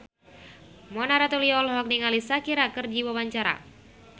Mona Ratuliu olohok ningali Shakira keur diwawancara